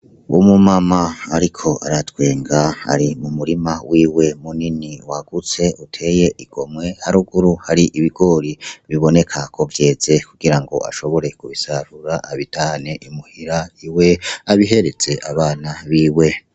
Uwo mu mama ariko aratwenga ari mumurima wiwe munini wagutse uteye igomwe haruguru hari ibigori biboneka ko vyeze kugira ngo ashobore kubisarura abitahane Imuhira iwe abihereze abana biwe.